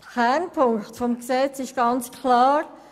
Der Kernpunkt des Gesetzes ist klar: